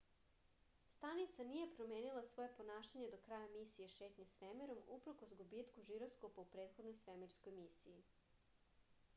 stanica nije promenila svoje ponašanje do kraja misije šetnje svemirom uprkos gubitku žiroskopa u prethodnoj svemirskoj misiji